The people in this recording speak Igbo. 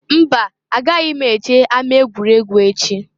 Mba! Agaghị m eje ama egwuregwu echi.